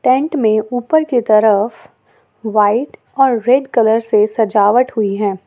Tent में ऊपर की तरफ व्हाइट और रेड कलर से सजावट हुई है।